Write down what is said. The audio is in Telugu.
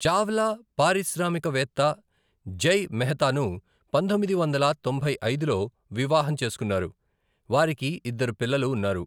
చావ్లా పారిశ్రామికవేత్త జై మెహతాను పంతొమ్మిది వందల తొంభై ఐదులో వివాహం చేసుకున్నారు, వారికి ఇద్దరు పిల్లలు ఉన్నారు.